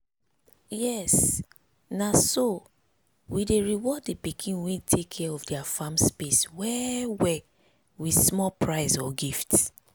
yes na so. we dey reward the pikin wey take care of their farm space well-well with small prize or gift.